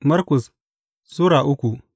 Markus Sura uku